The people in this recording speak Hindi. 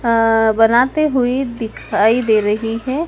अह बनाते हुए दिखाई दे रही है।